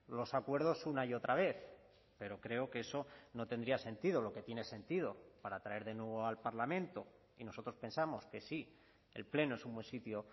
los acuerdos una y otra vez pero creo que eso no tendría sentido lo que tiene sentido para traer de nuevo al parlamento y nosotros pensamos que sí el pleno es un buen sitio